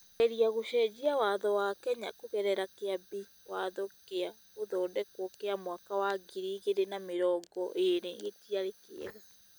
kũgeria gũcenjia Watho wa Kenya kũgerera Kĩambi Watho gĩa gũthondekwo kĩa mwaka wa ngiri igĩrĩ na mĩrongo erĩgĩtiarĩ kĩega.